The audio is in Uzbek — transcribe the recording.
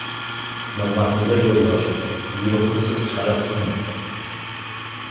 Nig‘matilla Yo‘ldoshev: Buyruqni siz chiqarasizmi?